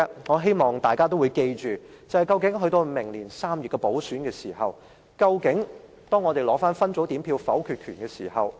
我希望大家緊記，在明年3月完成補選後，民主派將會取回分組點票否決權。